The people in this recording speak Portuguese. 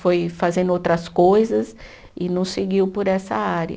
Foi fazendo outras coisas e não seguiu por essa área.